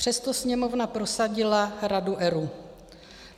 Přesto Sněmovna prosadila Radu ERÚ.